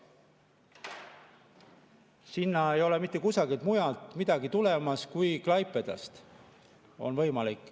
Sinna ei ole mitte kusagilt mujalt midagi tulemas, ainult Klaipedast on võimalik.